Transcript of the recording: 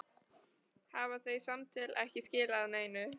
Hafa þau samtöl ekki skilað neinu?